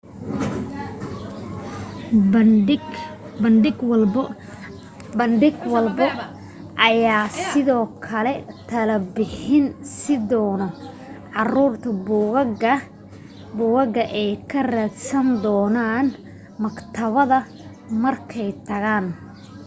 bandhig walbo ayaa sidoo kale talo bixin siin dono caruurta buugaga ay ka raadsan doonaan maktabada markay tagaan